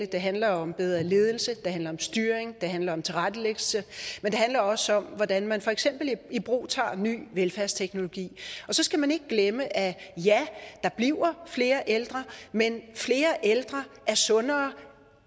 det handler om bedre ledelse det handler om styring det handler om tilrettelæggelse men det handler også om hvordan man for eksempel ibrugtager ny velfærdsteknologi og så skal man ikke glemme at ja der bliver flere ældre men flere ældre er sundere